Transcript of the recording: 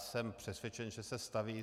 Jsem přesvědčen, že se staví.